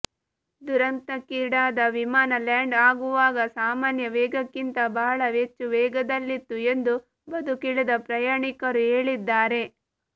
ದುರಂತಕ್ಕೀಡಾದ ವಿಮಾನ ಲ್ಯಾಂಡ್ ಆಗುವಾಗ ಸಾಮಾನ್ಯ ವೇಗಕ್ಕಿಂತ ಬಹಳ ಹೆಚ್ಚು ವೇಗದಲ್ಲಿತ್ತು ಎಂದು ಬದುಕುಳಿದ ಪ್ರಯಾಣಿಕರು ಹೇಳಿದ್ದಾರೆ